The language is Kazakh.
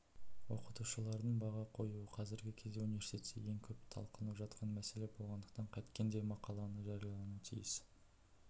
оқытушылардың баға қоюы қазіргі кезде университетте ең көп талқыланып жатқан мәселе болғандықтан қайткенде де мақала жариялануы тиіс